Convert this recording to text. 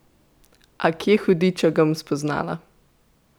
A kje, hudiča, ga bom spoznala?